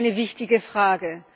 Das ist eine wichtige Frage.